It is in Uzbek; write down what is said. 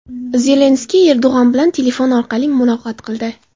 Zelenskiy Erdog‘an bilan telefon orqali muloqot qildi.